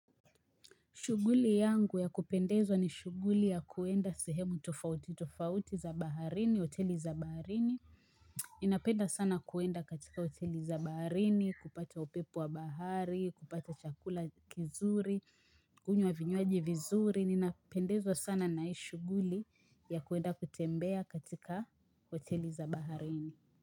Shughuli yangu ya kupendeza ni shuguli ya kwenda sehemu tofauti, tofauti za baharini, hoteli za baharini. Ninapenda sana kwenda katika hoteli za baharini, kupata upepo wa bahari, kupata chakula kizuri, kunywa vinywaji vizuri. Ninapendezwa sana na hii shuguli ya kwenda kutembea katika hoteli za baharini.